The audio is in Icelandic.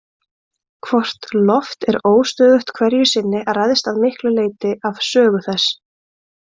Hvort loft er óstöðugt hverju sinni ræðst að miklu leyti af sögu þess.